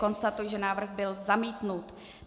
Konstatuji, že návrh byl zamítnut.